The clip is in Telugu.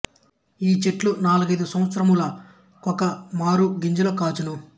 ఈ చెట్లు నాలుగైదు సంవాత్సరముల కొక మారు గింజలు కాచును